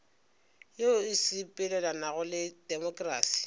yeo e sepelelanago le temokrasi